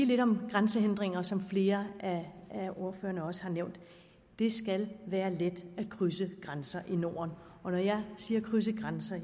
lidt om grænsehindringer som flere af ordførerne også har nævnt det skal være let at krydse grænser i norden og når jeg siger krydse grænser